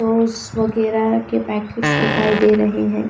वगैरा के पैकेट्स दिखाई दे रहे है।